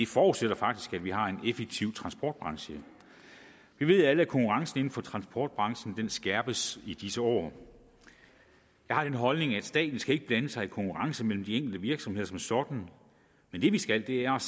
forudsætter faktisk at vi har en effektiv transportbranche vi ved alle at konkurrencen inden for transportbranchen skærpes i disse år jeg har den holdning at staten ikke skal blande sig i konkurrencen mellem de enkelte virksomheder som sådan men det vi skal er